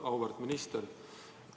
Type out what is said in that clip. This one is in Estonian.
Auväärt minister!